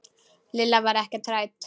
Lilla var ekkert hrædd.